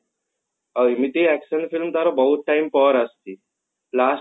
ଆଉ ଏମତି action film ତାର ବହୁତ time ପରେ ଆସିଛି last